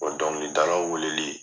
dɔnkilidalaw weleli